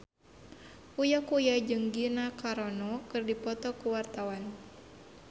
Uya Kuya jeung Gina Carano keur dipoto ku wartawan